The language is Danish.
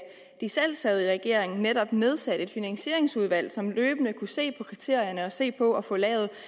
de selv sad i regering netop nedsatte et finansieringsudvalg som løbende kunne se på kriterierne og se på at få